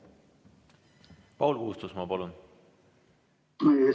Paul Puustusmaa, palun!